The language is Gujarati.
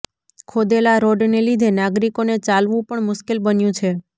ખોદેલા રોડને લીધે નાગરિકોને ચાલવુ પણ મુશ્કેલ બન્યું છે